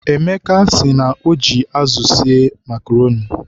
Emeka sị na o ji azụ esi makroni